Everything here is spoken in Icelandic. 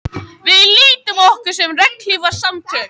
Við lítum á okkur sem regnhlífarsamtök